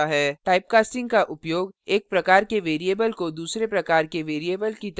typecasting का उपयोग एक प्रकार के variable को दूसरे प्रकार के variable की तरह कार्य करने योग्य बनाने के लिए किया जाता है